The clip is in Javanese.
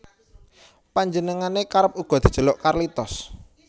Panjenengane kerep uga dijeluk Carlitos